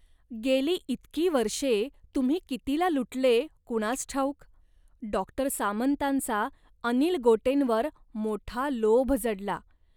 गेली इतकी वर्षे तुम्ही कितीला लुटले कुणास ठाऊक. " डॉक्टर सामंतांचा अनिल गोटेंवर मोठा लोभ जडला